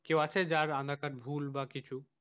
কেউ আছে যার আধার কার্ড ভুল বা কিছু,